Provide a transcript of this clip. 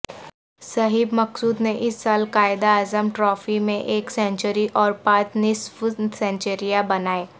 صہیب مقصود نے اس سال قائداعظم ٹرافی میں ایک سنچری اور پانچ نصف سنچریاں بنائیں